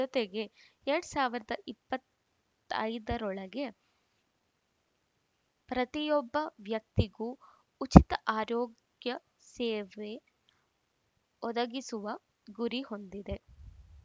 ಜತೆಗೆ ಎರಡ್ ಸಾವಿರದ ಇಪ್ಪತ್ತ್ ಐದರೊಳಗೆ ಪ್ರತಿಯೊಬ್ಬ ವ್ಯಕ್ತಿಗೂ ಉಚಿತ ಆರೋಗ್ಯ ಸೇವೆ ಒದಗಿಸುವ ಗುರಿ ಹೊಂದಿದೆ